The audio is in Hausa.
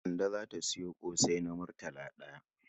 Kande za ta sayo ƙosai na murtala ɗaya.